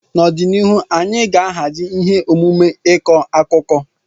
N'ọdịnihu, anyị ga-ahazi ihe omume ịkọ akụkọ.